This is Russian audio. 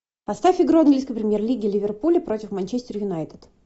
поставь игру английской премьер лиги ливерпуля против манчестер юнайтед